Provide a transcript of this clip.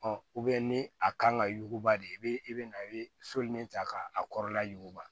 ni a kan ka yuguba de i bɛ i bɛ na i bɛ soli min ta ka a kɔrɔla yuguba